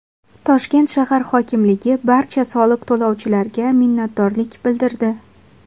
Toshkent shahar hokimligi barcha soliq to‘lovchilarga minnatdorlik bildirdi.